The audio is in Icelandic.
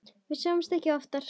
Við sjáumst ekki oftar.